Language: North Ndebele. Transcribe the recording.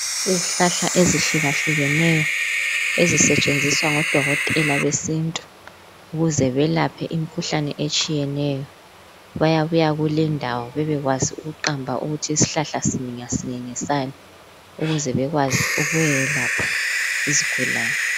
Izihlahla ezihlukaneyo ezisetshenziswa ngodokotela besintu kuze belaphe imikhuhlane etshiyeneyo baya buya lendawo bebekwazi ukuqamba ukuthi isihlahla ngasinye ngesani ukuze bekwazi ukuye lapha izigulane